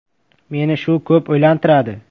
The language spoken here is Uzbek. Meni shu ko‘p o‘ylantiradi.